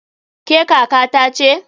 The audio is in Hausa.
Ke kaka ta ce?